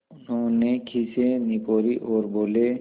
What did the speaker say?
उन्होंने खीसें निपोरीं और बोले